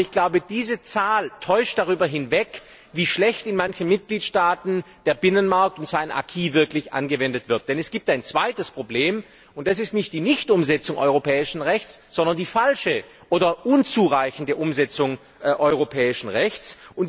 Aber ich glaube, diese Zahl täuscht darüber hinweg, wie schlecht in manchen Mitgliedstaaten der Binnenmarkt und sein Acquis wirklich angewendet werden, denn es gibt ein zweites Problem, und das ist nicht die Nichtumsetzung europäischen Rechts, sondern die falsche oder unzureichende Umsetzung europäischen Rechts.